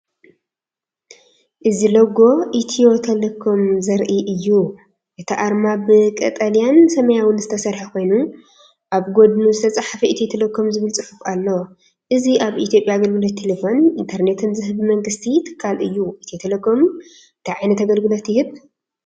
እዚ ሎጎ ኢትዮ ቴሌኮም ዘርኢ እዩ። እቲ ኣርማ ብቀጠልያን ሰማያውን ዝተሰርሐ ኮይኑ፡ ኣብ ጎድኑ ዝተጻሕፈ “ኢትዮ ቴሌኮም” ዝብል ጽሑፍ ኣሎ። እዚ ኣብ ኢትዮጵያ ኣገልግሎት ቴሌፎንን ኢንተርኔትን ዝህብ ብመንግስቲ ትካል እዩ። ኢትዮ ቴሌኮም እንታይ ዓይነት ኣገልግሎት ይህብ?